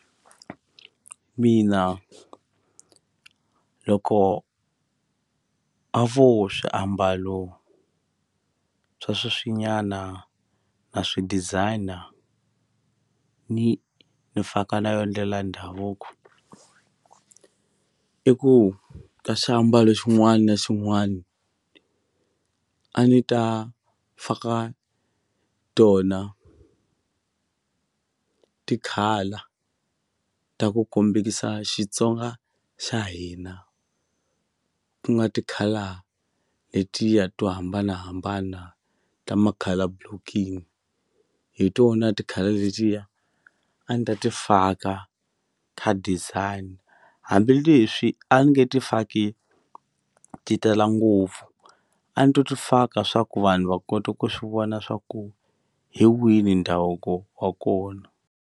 Mina loko a vo swiambalo swa sweswinyana na swi designer ni ni faka na yo ndlela ndhavuko i ku ka xiambalo xin'wana na xin'wana a ni ta faka tona ti-colour ta ku kombekisa Xitsonga xa hina ku nga tikhala letiya to hambanahambana ta ma-colour blocking hi tona ti-colour letiya a ni ta ti faka ka designer hambileswi a ni nge ti faki ti tala ngopfu a ni to ti faka swa ku vanhu va kota ku swi vona swa ku hi wini ndhavuko wa kona.